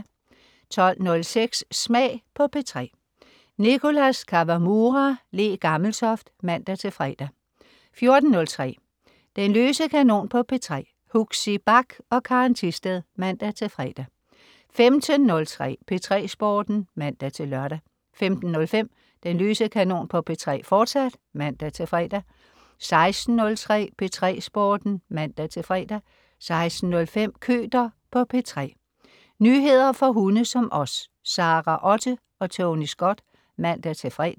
12.06 Smag på P3. Nicholas Kawamura/Le Gammeltoft (man-fre) 14.03 Den løse kanon på P3. Huxi Bach og Karen Thisted (man-fre) 15.03 P3 Sporten (man-lør) 15.05 Den løse kanon på P3, fortsat (man-fre) 16.03 P3 Sporten (man-fre) 16.05 Køter på P3. Nyheder for hunde som os. Sara Otte og Tony Scott (man-fre)